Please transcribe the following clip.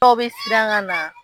Dɔw bi siran ka na.